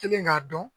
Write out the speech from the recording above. Kelen k'a dɔn